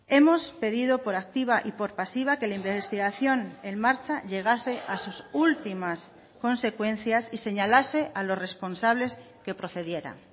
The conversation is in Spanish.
hemos pedido por activa y por pasiva que la investigación en marcha llegase a sus últimas consecuencias y señalase a los responsables que procediera